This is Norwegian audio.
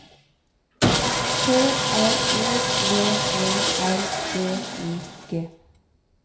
T R O V E R D I G